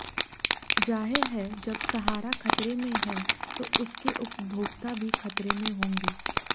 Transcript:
जाहिर है जब सहारा खतरे में है तो उसके उपभोक्ता भी खतरे में होंगे